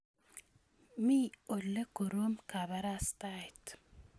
Mi ole korom kabarastaet